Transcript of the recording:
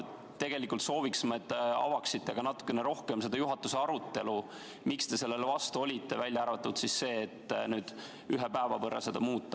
Tegelikult me sooviksime, et te avaksite ka natukene rohkem seda juhatuse arutelu, miks te sellele vastu olite, välja arvatud see, et nüüd ühe päeva võrra seda muuta.